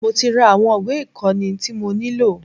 Mo tí ra àwọn ìwé ìkóni tí mo nílò.